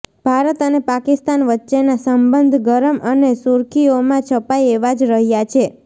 ભારત અને પાકિસ્તાન વચ્ચેના સંબંધ ગરમ અને શુર્ખીઓમાં છપાય એવા જ રહ્યા છે